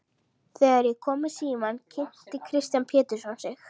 Þegar ég kom í símann kynnti Kristján Pétursson sig.